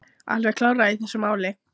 Alveg klárlega í þessu máli.